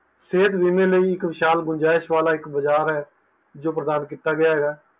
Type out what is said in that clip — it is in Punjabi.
ਸੇਹਤ ਬੀਮੇ ਲਈ ਇੱਕ ਵਿਸ਼ਾਲ ਗੁੰਜਾਇਸ਼ ਵਾਲਾਂ ਇੱਕ ਬਜਾਰ ਹੈ ਜੋ ਪ੍ਰਦਾਨ ਕੀਤਾ ਗਆ ਹੈ